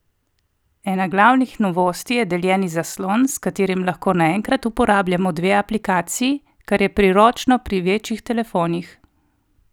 Ena glavnih novosti je deljeni zaslon, s katerim lahko naenkrat uporabljamo dve aplikaciji, kar je priročno pri večjih telefonih.